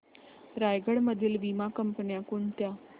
रायगड मधील वीमा कंपन्या कोणत्या